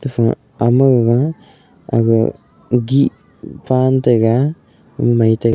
pha ama gaga aga gih pan tega mai tai --